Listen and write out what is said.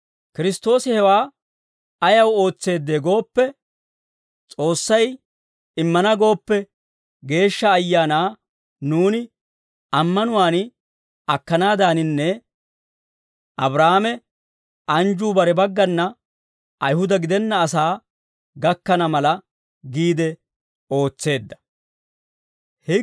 Kiristtoosi hewaa ayaw ootseedee gooppe, S'oossay immana gooppe, Geeshsha Ayaanaa nuuni ammanuwaan akkanaaddaaninne Abraahaame anjjuu bare baggana Ayihuda gidenna asaa gakkana mala giide ootseedda.